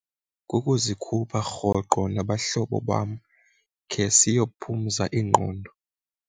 Kukuzikhupha rhoqo nabahlobo bam khe siyophumezo iingqondo.